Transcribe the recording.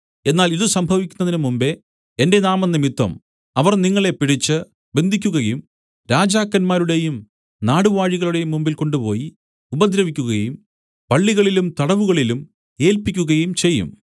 എന്നാൽ ഇതു സംഭവിക്കുന്നതിന് മുമ്പെ എന്റെ നാമംനിമിത്തം അവർ നിങ്ങളെ പിടിച്ച് ബന്ധിയ്ക്കുകയും രാജാക്കന്മാരുടേയും നാടുവാഴികളുടേയും മുമ്പിൽ കൊണ്ടുപോയി ഉപദ്രവിക്കുകയും പള്ളികളിലും തടവുകളിലും ഏല്പിക്കുകയും ചെയ്യും